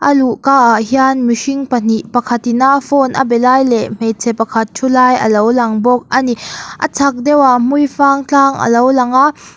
a luhka ah hian mihring pahnih pakhatin a phone a be lai leh hmeichhe pakhat thu lai alo lang bawk a ni a chhak deuhah hmuifang tlang alo lang a